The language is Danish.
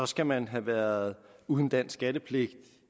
skal man have været uden dansk skattepligt